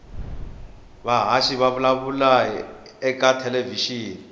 vahhashi vavulavula hhitatelevishini